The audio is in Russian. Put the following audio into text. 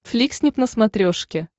фликснип на смотрешке